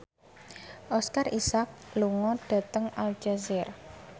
Oscar Isaac lunga dhateng Aljazair